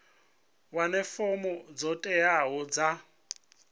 wane fomo dzo teaho dza